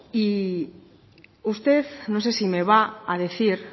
y usted no sé si me va a decir